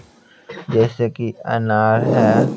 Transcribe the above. जैसे कि अनार है।